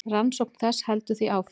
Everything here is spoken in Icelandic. Rannsókn þess heldur því áfram.